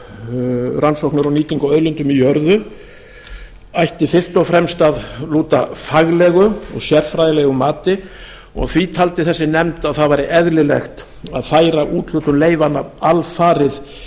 um rannsóknir og nýtingu á auðlindum í jörðu ætti fyrst og fremst að lúta faglegu og sérfræðilegu mati og því taldi þessi nefnd að það væri eðlilegt að færa úthlutun leyfanna alfarið